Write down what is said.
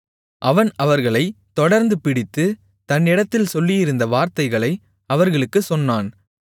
அவன் அவர்களைத் தொடர்ந்து பிடித்து தன்னிடத்தில் சொல்லியிருந்த வார்த்தைகளை அவர்களுக்குச் சொன்னான்